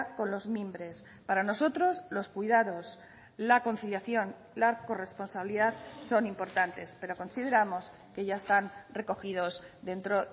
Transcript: con los mimbres para nosotros los cuidados la conciliación la corresponsabilidad son importantes pero consideramos que ya están recogidos dentro